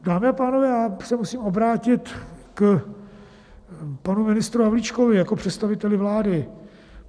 Dámy a pánové, já se musím obrátit k panu ministru Havlíčkovi jako představiteli vlády.